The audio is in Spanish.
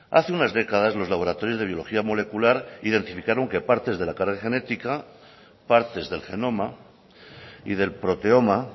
hace unas décadas los laboratorios de biología molecular identificaron que partes de la cara genética partes del genoma y del proteoma